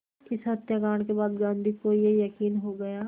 इस हत्याकांड के बाद गांधी को ये यक़ीन हो गया